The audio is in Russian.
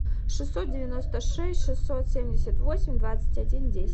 шестьсот девяносто шесть шестьсот семьдесят восемь двадцать один десять